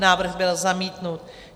Návrh byl zamítnut.